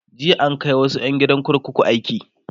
jiya an Kai wasu ƴan gidan kurkuku aiki